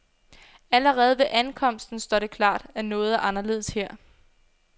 Allerede ved ankomsten står det klart, at noget er anderledes her.